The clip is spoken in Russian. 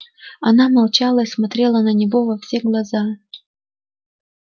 она молчала и смотрела на него во все глаза